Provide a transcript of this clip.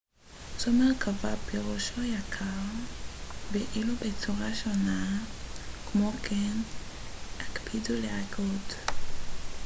כמו כן הקפידו להגות r ו-rr בצורה שונה: stealthily פירושו יקר ואילו carro זו מרכבה